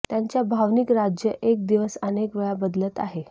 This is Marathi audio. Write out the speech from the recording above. त्यांच्या भावनिक राज्य एक दिवस अनेक वेळा बदलत आहे